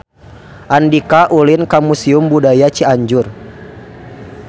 Andika ulin ka Museum Budaya Cianjur